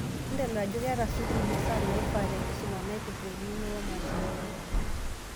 Entodol ajo keeta sukuul masaa naifaa, tenkisuma naipirta eng'eno oomashinini.